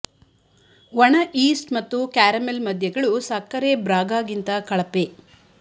ಒಣ ಈಸ್ಟ್ ಮತ್ತು ಕ್ಯಾರಮೆಲ್ ಮದ್ಯಗಳು ಸಕ್ಕರೆ ಬ್ರಾಗಾ ಗಿಂತ ಕಳಪೆ